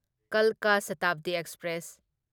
ꯀꯜꯀꯥ ꯁꯥꯇꯥꯕꯗꯤ ꯑꯦꯛꯁꯄ꯭ꯔꯦꯁ